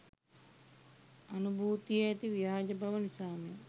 අනුභූතියේ ඇති ව්‍යාජ බව නිසාම